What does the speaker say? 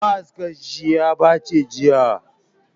Ma'askan shi ya baci jiya